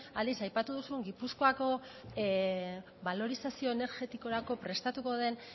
aldiz aipatu duzun gipuzkoako balorizazio energetikorako prestatuko den